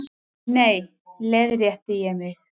Nei, leiðrétti ég mig.